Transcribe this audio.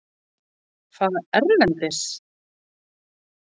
Fara erlendis?